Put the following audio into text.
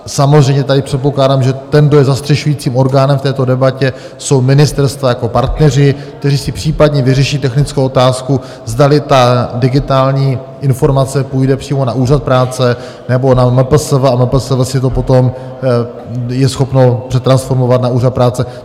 Samozřejmě tady předpokládám, že ten, kdo je zastřešujícím orgánem v této debatě, jsou ministerstva jako partneři, kteří si případně vyřeší technickou otázku, zdali ta digitální informace půjde přímo na Úřad práce, nebo na MPSV a MPSV si to potom je schopno přetransformovat na Úřad práce.